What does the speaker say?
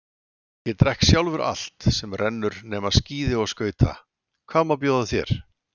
Ég drekk sjálfur allt sem rennur nema skíði og skauta, hvað má bjóða þér?